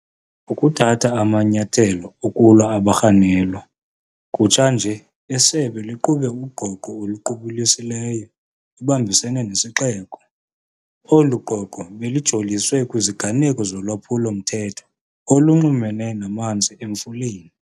Ukuthatha amanyathelo okulwa abarhanelwa. Kutsha nje isebe liqhube ugqogqo oluqubulisileyo libambisene nesixeko. Olu gqogqo belijoliswe kwiziganeko zolwaphulo-mthetho olunxulumene namanzi Emfuleni.